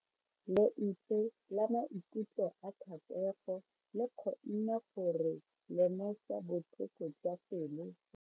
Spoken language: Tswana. Lentswe la maikutlo a Thatego le kgonne gore re lemosa botlhoko jwa pelo ya gagwe.